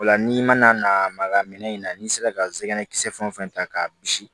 O la n'i mana na maga minɛ in na n'i sera ka zɛgɛn kisɛ fɛn ta k'a bisi